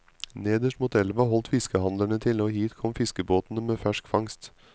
Nederst mot elva holdt fiskehandlerne til og hit kom fiskebåtene med fersk fangst.